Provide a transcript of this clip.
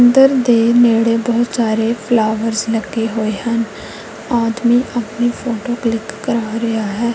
ਮੰਦਰ ਦੇ ਨੇੜੇ ਬਹੁਤ ਸਾਰੇ ਫਲਾਵਰਸ ਲੱਗੇ ਹੋਏ ਹਨ ਆਦਮੀ ਆਪਣੀ ਫੋਟੋ ਕਲਿੱਕ ਕਰਵਾ ਰਿਹਾ ਹੈ।